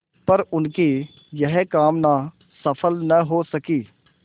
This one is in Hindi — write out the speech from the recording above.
पर उनकी यह कामना सफल न हो सकी